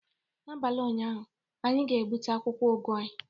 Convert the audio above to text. N'abalị ụnyaahụ, anyị ga-gbute akwụkwọ ugu anyị